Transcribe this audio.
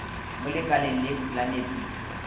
mo lekaleng lekhwi la nepišo